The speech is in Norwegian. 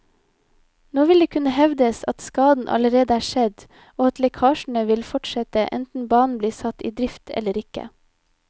Nå vil det kunne hevdes at skaden allerede er skjedd og at lekkasjene vil fortsette enten banen blir satt i drift eller ikke.